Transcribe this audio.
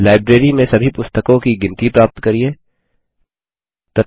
library में सभी पुस्तकों की गिनती प्राप्त करिये